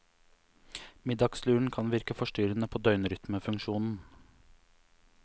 Middagsluren kan virke forstyrrende på døgnrytmefunksjonen.